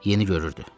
Yeni görürdü.